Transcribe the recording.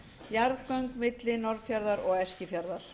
jarðgöng milli norðfjarðar og eskifjarðar